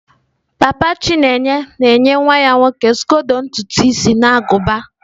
papa chineye na-enye nwa ya nwoke skodo ntutu isi na agụba.